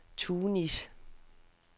Tunis